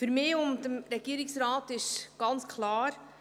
Für mich und für den Regierungsrat ist ganz klar: